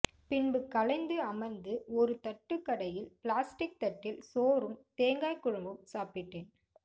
பின்பு களைந்து அமர்ந்து ஒரு தட்டுகடையில் பிளாஸ்டிக் தட்டில் சோறும் தேங்காய்க்குழம்பும் சாப்பிட்டேன்